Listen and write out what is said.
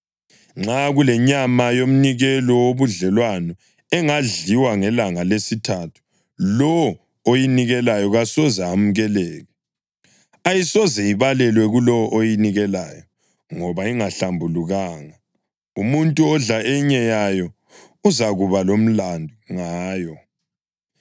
Nxa kulenyama yomnikelo wobudlelwano engadliwa ngelanga lesithathu, lowo oyinikeleyo kasoze amukeleke. Ayisoze ibalelwe kulowo oyinikeleyo, ngoba ingahlambulukanga. Umuntu odla enye yayo uzakuba lomlandu ngayo.